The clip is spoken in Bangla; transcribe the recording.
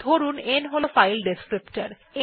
ধরুন n হল ফাইল ডেসক্রিপ্টর